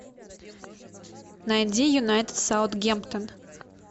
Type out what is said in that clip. найди юнайтед саутгемптон